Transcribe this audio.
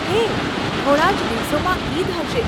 હે, થોડાં જ દિવસોમાં ઈદ હશે.